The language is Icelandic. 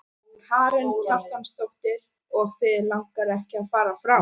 Karen Kjartansdóttir: Og þig langar ekki að fara frá?